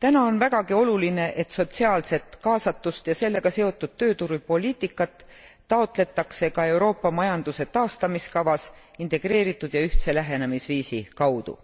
Täna on vägagi oluline, et sotsiaalset kaasatust ja sellega seotud tööturupoliitikat taotletakse ka Euroopa majanduse taastamiskavas integreeritud ja ühtse lähenemisviisi kaudu.